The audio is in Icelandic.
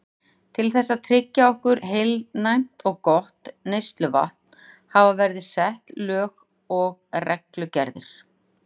Til þess að tryggja okkur heilnæmt og gott neysluvatn hafa verið sett lög og reglugerðir.